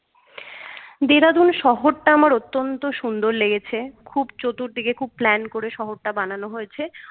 dehradun শহরটা আমার অত্যন্ত সুন্দর লেগেছে খুব চতুর্দিকে খুব plan করে শহরটা বানানো হয়েছে